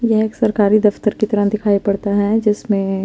येह एक सरकारी दफ्तर की तरह दिखाई पड़ता है जिसमे--